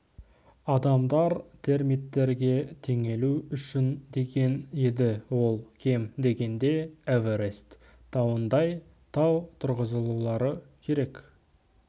адамдар термиттерге теңелу үшін деген еді ол кем дегенде эверест тауындай тау тұрғызулары керек